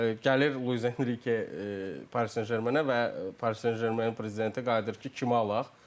Gəlir Luis Enrike Paris Saint-Germain-ə və Paris Saint-Germain prezidenti qayıdır ki, kimi alaq?